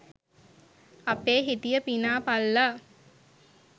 අපේ හිටිය පිනා පල්ලා